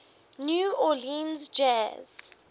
new orleans jazz